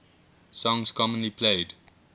songs commonly played